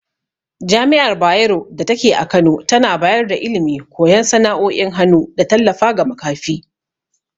Jami’ar Bayero datake a Kano tana bayar da ilimi, koyan sana’o’in hannu, da tallafa ga makafi.